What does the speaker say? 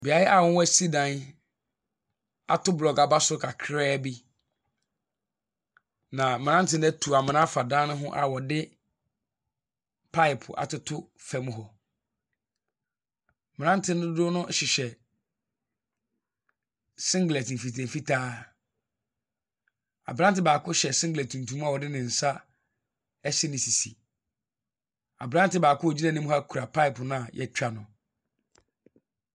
Beaeɛ a wɔasi dan ato bolɔɔgo aba soro kakra bi, na mmeranteɛ no atu amena afa dan no ho a wɔde pipe atoto fam hɔ. Mmeranteɛ dodoɔ no hyehyɛ singlet mfitaa mfitaa. Aberanteɛ baako hyɛ singlet tuntum a ɔde ne nsa asi ne sisi. Aberanteɛ baako a ɔgyina anim ha kura pipe mu a wɔatwa ano.